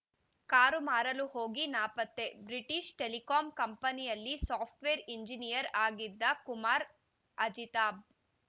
car ಮಾರಲು ಹೋಗಿ ನಾಪತ್ತೆ ಬ್ರಿಟಿಷ್‌ ಟೆಲಿಕಾಂ ಕಂಪನಿಯಲ್ಲಿ ಸಾಫ್ಟ್‌ವೇರ್‌ ಇಂಜಿನಿಯರ್‌ ಆಗಿದ್ದ ಕುಮಾರ್‌ ಅಜಿತಾಬ್‌